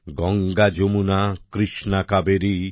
Ganga Yamuna Krishna Kaveri